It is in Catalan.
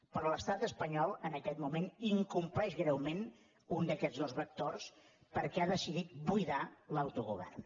però l’estat espanyol en aquest moment incompleix greument un d’aquests dos vectors perquè ha decidit buidar l’autogovern